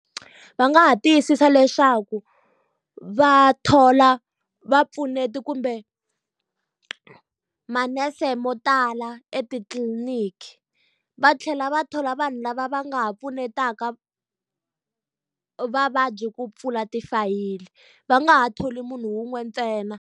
Va nga ha tiyisisa leswaku va thola vapfuneti kumbe manese mo tala etitliliniki, va tlhela va thola vanhu lava va nga ha pfunetaka vavabyi ku pfula tifayili, va nga ha tholi munhu wun'we ntsena.